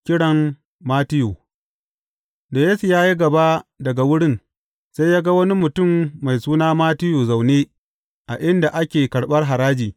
Kiran Mattiyu Da Yesu ya yi gaba daga wurin, sai ya ga wani mutum mai suna Mattiyu zaune a inda ake karɓar haraji.